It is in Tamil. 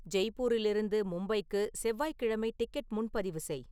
ஜெய்ப்பூரிலிருந்து மும்பைக்கு செவ்வாய்கிழமை டிக்கெட் முன்பதிவு செய்